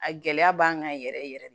A gɛlɛya b'an kan yɛrɛ yɛrɛ yɛrɛ de